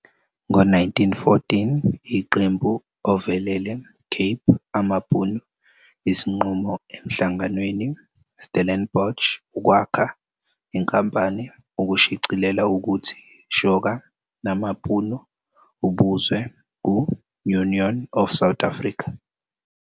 Ngo-1914, iqembu ovelele Cape amaBhunu isinqumo emhlanganweni Stellenbosch ukwakha inkampani ukushicilela ukuthi shoka namaBhunu ubuzwe ku-Union of South Africa.